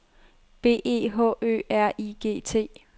B E H Ø R I G T